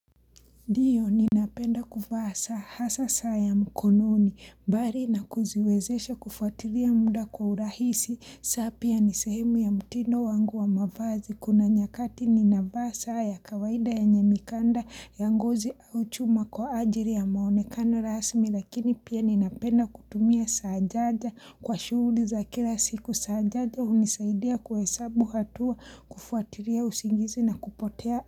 Ndiyo, ninapenda kuvaa saa hasa saa ya mkononi, bari na kuziwezesha kufatiria muda kwa urahisi, saa pia nisehemu ya mutindo wangu wa mavazi, kuna nyakati ninavaa saa ya kawaida ya nyenye mikanda ya ngozi au chuma kwa ajiri ya muonekano rasmi, lakini pia ninapenda kutumia saajaja kwa shuhuli za kila siku, saa jaja hunisaidia kwa hesabu hatua kufuatiria usingizi na kupotea.